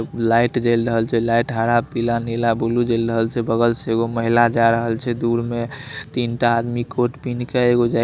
light जल रहल छे लाईट हरा पीला नीला बुलु जल रहल छे बगल से एगो महिला जा रहल छे दूर में तिन टा आदमी कोट पहिन के एगो जै --